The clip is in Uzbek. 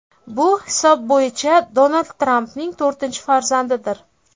Bu hisob bo‘yicha Donald Trampning to‘rtinchi farzandidir.